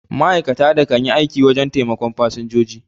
Ma'aikatan da kan yi aiki wajen taimakon fasinjiji